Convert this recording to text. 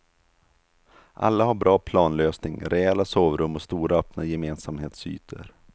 Alla har bra planlösning, rejäla sovrum och stora öppna gemensamhetsytor.